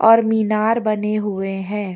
और मीनार बने हुए है।